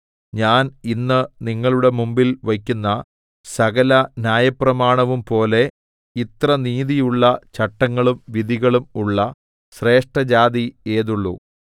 ഞാൻ ഇന്ന് നിങ്ങളുടെ മുമ്പിൽ വയ്ക്കുന്ന സകല ന്യായപ്രമാണവും പോലെ ഇത്ര നീതിയുള്ള ചട്ടങ്ങളും വിധികളും ഉള്ള ശ്രേഷ്ഠജാതി ഏതുള്ളു